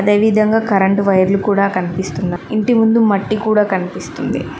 అదే విధంగా కరెంటు వైర్లు కూడా కనిపిస్తున్న ఇంటి ముందు మట్టి కూడా కనిపిస్తుంది.